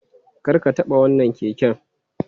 Kar ka taɓa wannan keken!